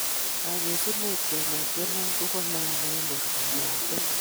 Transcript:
Kagesuneet keleek chemiach kobo maana eng' boortab lakwet